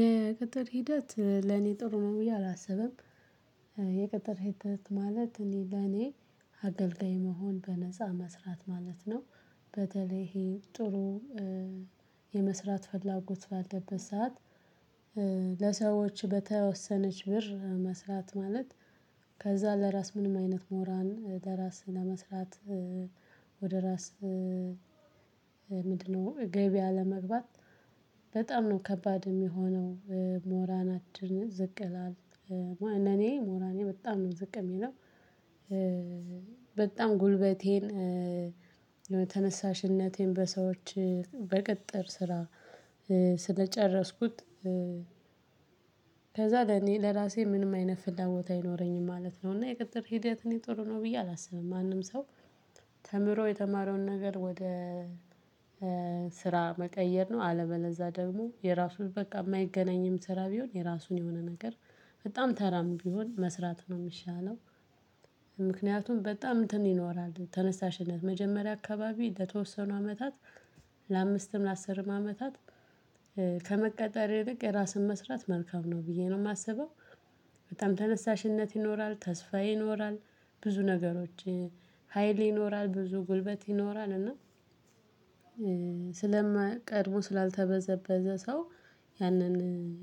የቅጠር ሂደት ለኔ ጥሩ ነው ብዬ አላስብም። የቅጠር ሂደት ማለት ለኔ አገልጋይ መሆን በነፃ መስራት ማለት ነው። በተለይ ይሄ ጥሩ የመስራት ፈላጎት ባለበት ሰዓት። ለሰዎች በተወሰነች ብር መስራት ማለት ከዛ ለራስ ምንም አይነት ሞራል በራስ ለመስራት ወደ ራስ ምንድን ነው ገቢ አለመግባት በጣም ነው ከባድ የሚሆነው። ሞራላችን ዝቅ ይላል። ለእኔ ሞራሌ በጣም ነው ዝቅ የሚለው። በጣም ጉልበቴን ተነሳሽነቴን በሰዎች በቅጥር ስራ ስለጨረስኩት። ከዛ ለኔ ለራሴ ምንም አይነት ፍላጎት አይኖረኝም ማለት ነው። እና የቅጥር ሂደት እኔ ጥሩ ነው ብዬ አላስብም። ማንም ሰው የተማረውን ነገር ወደ ስራ መቀየር ነው አለበለዛ ደግሞ የራሱን በቃ የማይገናኝም ስራ ቢሆን የራሱን የሆነ ነገር በጣም ተራም ቢሆን መስራት ነው የሚሻለው። ምክንያቱም በጣም እንትን ይኖራል ተነሳሽነት መጀመሪያ አካባቢ ለተወሰኑ አመታት ለአምስትም ለአስርም አመታት ከመቀጠር ይልቅ የራስን መስራት መልካም ነው ብዬ ነው የማስበው። በጣም ተነሳሽነት ይኖራል ተስፋ ይኖራል ብዙ ነገሮች ሀይል ይኖራል ብዙ ጉልበት ይኖራል እና ስለ ቀድሞ ስላልተበዘበዘ ሰው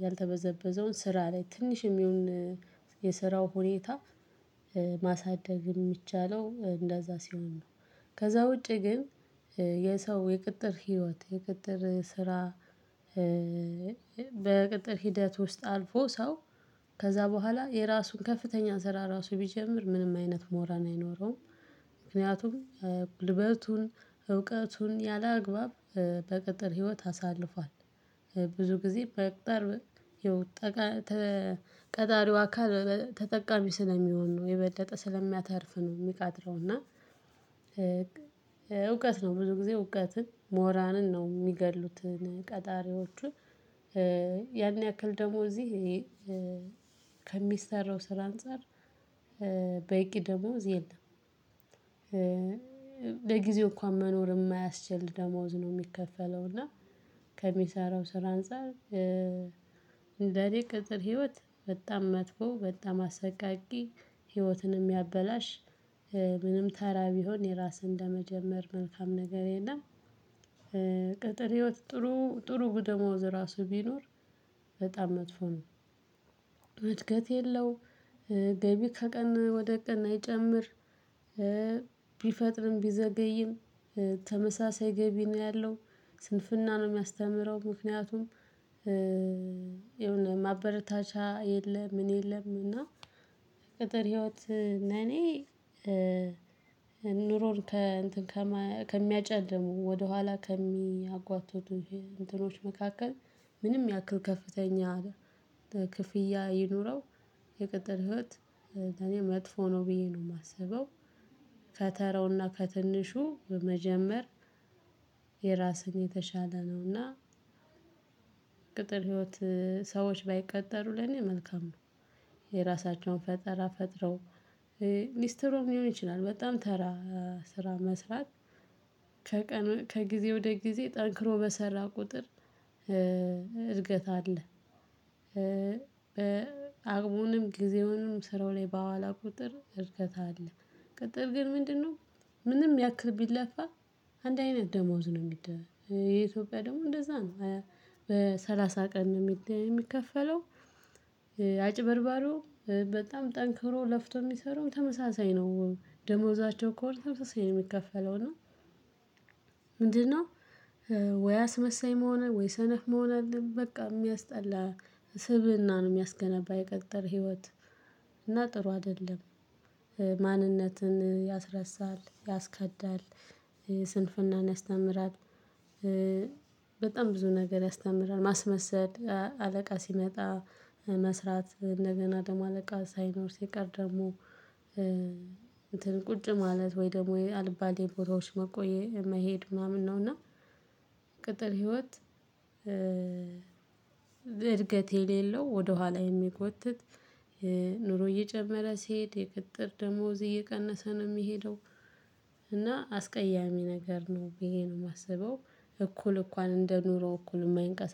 ያልተበዘበዘውን ስራ ላይ ትንሽም ይሁን የስራው ሁኔታ። የሚቻለው እንደዛ ሲሆን ነው። ከዛ ውጪ ግን የሰው የቅጥር ህይወት የቅጥር ስራ። በቅጥር ሂደት ውስጥ አልፎ ሰው ከዛ በኋላ የራሱን ከፍተኛ ስራ ራሱ ቢጀምር ምንም አይነት ሞራል አይኖረውም። ምክንያቱም ጉልበቱን እውቀቱን ያለአግባብ በቅጥር ህይወት አሳልፏል። ብዙ ጊዜ በቅጥር ቀጣሪው አካል ተጠቃሚ ስለሚሆን ነው የበለጠ ስለሚያተርፍ ነው የሚቀጥረው እና። እውቀት ነው ብዙ ጊዜ እውቀትን ሞራልን ነው የሚገድሉት ቀጣሪዎቹ። ያን ያክል ደግሞ እዚህ ከሚሰራው ስራ አንፃር በቂ ደሞዝ የለም። ለጊዜው እንኳን መኖር የማያስችል ደሞዝ ነው የሚከፈለው። እና ከሚሰራው ስራ አንፃር እንደ እኔ ቅጥር ህይወት በጣም መጥፎ በጣም አሰቃቂ ህይወትን የሚያበላሽ ምንም ተራ ቢሆን የራስህን እንደመጀመር መልካም ነገር የለም። ቅጥር ህይወት ጥሩ ጥሩ ደሞዝ ራሱ ቢኖር በጣም መጥፎ ነው። እድገት የለው። ገቢ ከቀን ወደ ቀን አይጨምር። ቢፈጥርም ቢዘገይም ተመሳሳይ ገቢ ነው ያለው። ስንፍና ነው የሚያስተምረው ምክንያቱም የሆነ ማበረታቻ የለም ምን የለም እና። ቅጥር ህይወት ለእኔ ኑሮን ከእንትን ከሚያጨልሙ ወደኋላ ከሚያጓትቱ እንትኖች መካከል ምንም ያክል ከፍተኛ ክፍያ ይኑረው የቅጥር ህይወት ለእኔ መጥፎ ነው ብዬ ነው የማስበው። ከተራው እና ከትንሹ መጀመር የራስን የተሻለ ነው እና። ቅጥር ህይወት ሰዎች ባይቀጠሩ ለኔ መልካም ነው። የራሳቸውን ፈጠራ ፈጥረው ሊስትሮም ሊሆን ይችላል በጣም ተራ ስራ መስራት ከጊዜ ወደ ጊዜ ጠንክሮ በሰራ ቁጥር እድገት አለ። አቅሙንም ጊዜውንም ስራው ላይ ባዋለ ቁጥር እድገት አለ። ቅጥር ግን ምንድን ነው? ምንም ያክል ቢለፋ አንድ አይነት ደሞዝ ነው የሚደረገው። የኢትዮጵያ ደግሞ እንደዛ ነው በሰላሳ ቀን ነው የሚከፈለው። አጭበርባሪውም በጣም ጠንክሮ ለፍቶ የሚሰራው ተመሳሳይ ነው ደሞዛቸው ከወር ተመሳሳይ ነው የሚከፈለው እና። ምንድን ነው? ወይ አስመሳይ መሆን ወይ ሰነፍ መሆን አለብህ በቃ የሚያስጠላ ስብእና ነው የሚያስገነባ የቅጥር ህይወት። እና ጥሩ አይደለም። ማንነትን ያስረሳል ያስከዳል። ስንፍናን ያስተምራል። በጣም ብዙ ነገር ያስተምራል ማስመሰል አለቃ ሲመጣ መስራት እንደገና ደግሞ አለቃ ሳይኖር ሲቀር ደግሞ። ቁጭ ማለት ወይ ደግሞ አልባሌ ቦታዎች መቆየት መሄድ ምናምን ነው እና። ቅጥር ህይወት። እድገት የሌለው ወደኋላ የሚጎትት ኑሮ እየጨመረ ሲሄድ የቅጥር ደሞዝ እየቀነሰ ነው የሚሄደው። እና አስቀያሚ ነገር ነው ብዬ ነው የማስበው። እኩል እንኳን እንደኑሮ እኩል የማይንቀሳቀስ